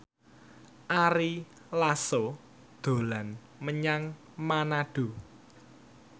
Ari Lasso dolan menyang Manado